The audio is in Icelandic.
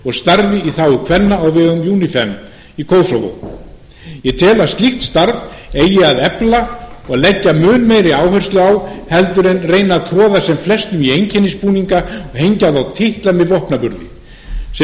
og starfi í þágu kvenna á vegum unifem í kosovo ég tel að slíkt starf eigi að efla og leggja mun meiri áherslu á en að reyna að troða sem flestum í einkennisbúninga og hengja á þá titla með vopnaburði sem